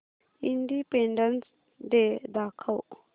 independence day दाखव